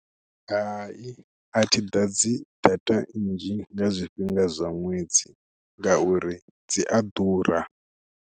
Hai a thi ḓadzi data nnzhi nga zwifhinga zwa ṅwedzi ngauri dzi a ḓura.